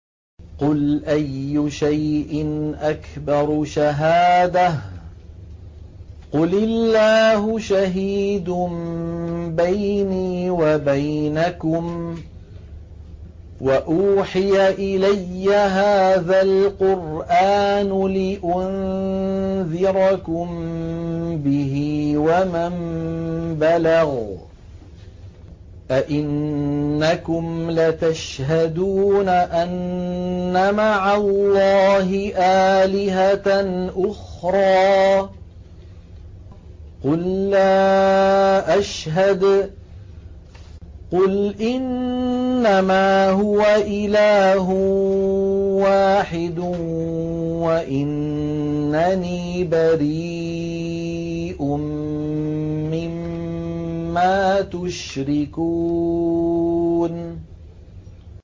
قُلْ أَيُّ شَيْءٍ أَكْبَرُ شَهَادَةً ۖ قُلِ اللَّهُ ۖ شَهِيدٌ بَيْنِي وَبَيْنَكُمْ ۚ وَأُوحِيَ إِلَيَّ هَٰذَا الْقُرْآنُ لِأُنذِرَكُم بِهِ وَمَن بَلَغَ ۚ أَئِنَّكُمْ لَتَشْهَدُونَ أَنَّ مَعَ اللَّهِ آلِهَةً أُخْرَىٰ ۚ قُل لَّا أَشْهَدُ ۚ قُلْ إِنَّمَا هُوَ إِلَٰهٌ وَاحِدٌ وَإِنَّنِي بَرِيءٌ مِّمَّا تُشْرِكُونَ